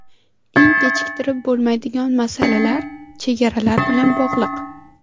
Eng kechiktirib bo‘lmaydigan masalalar chegaralar bilan bog‘liq.